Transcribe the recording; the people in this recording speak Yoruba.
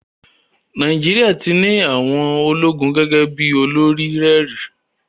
Nàìjíríà ti ní àwọn ológun gẹ́gẹ́ bí olórí rẹ̀ rí.